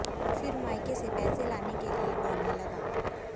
फिर मायके से पैसे लाने के लिए बोलने लगा